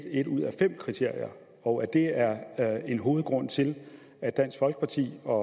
et ud af fem kriterier og at det er en hovedgrund til at dansk folkeparti og